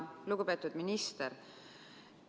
Lugupeetud minister!